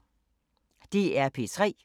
DR P3